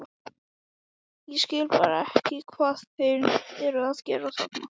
Ég skil bara ekki hvað þeir eru að gera þarna?